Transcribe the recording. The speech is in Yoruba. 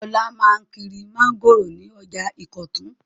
Olá máa ń kiri mángòrò ní ọjà Ìkọ̀tún.